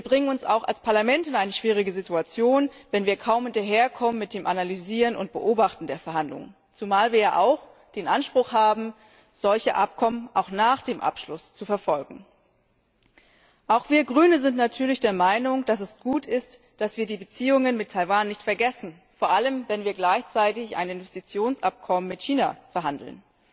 Wir bringen uns auch als Parlament in eine schwierige Situation, wenn wir kaum hinterherkommen mit dem Analysieren und Beobachten der Verhandlungen, zumal wir ja auch den Anspruch haben, solche Abkommen auch nach dem Abschluss zu verfolgen. Auch wir als Grüne sind natürlich der Meinung, dass es gut ist, dass wir die Beziehungen mit Taiwan nicht vergessen, vor allem, wenn wir gleichzeitig ein Investitionsabkommen mit China verhandeln.